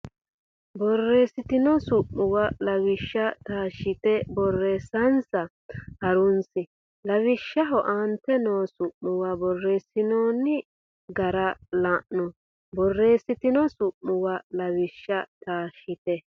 borreessitino su muwa Lawishsha taashshite borreessansa ha runsi lawishshaho aante noo su muwa borreessinooni gara la no borreessitino su muwa Lawishsha taashshite.